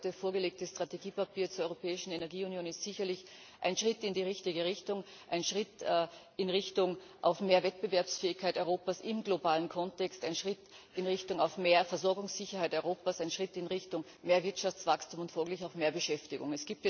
Das heute vorgelegte Strategiepapier zur Europäischen Energieunion ist sicherlich ein Schritt in die richtige Richtung, ein Schritt in Richtung mehr Wettbewerbsfähigkeit Europas im globalen Kontext, ein Schritt in Richtung mehr Versorgungssicherheit Europas, ein Schritt in Richtung mehr Wirtschaftswachstum und folglich auch mehr Beschäftigung.